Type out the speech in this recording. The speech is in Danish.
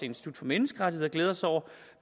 institut for menneskerettigheder glæder sig over